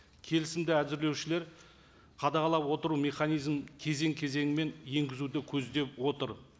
келісімді әзірлеушілер қадағалап отыру механизмін кезең кезеңімен енгізуді көздеп отыр